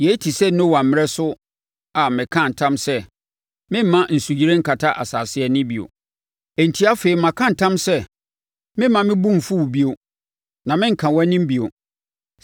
“Yei te sɛ Noa mmerɛ so a mekaa ntam sɛ meremma nsuyire nkata asase ani bio. Enti afei maka ntam sɛ meremma mebo mfu wo bio, na merenka wʼanim bio.